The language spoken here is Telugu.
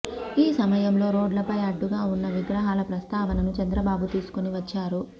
ఈ సమయంలో రోడ్లపై అడ్డుగా ఉన్న విగ్రహాల ప్రస్తావనను చంద్రబాబు తీసుకొని వచ్చారు